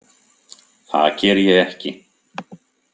Það geri ég ekki.